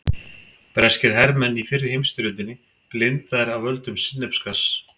Breskir hermenn í fyrri heimsstyrjöldinni blindaðir af völdum sinnepsgass.